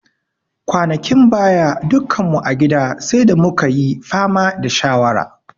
Kwanakin baya, dukkan mu a gida sai da mu ka yi fama da shawara.